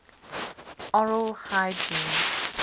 oral hygiene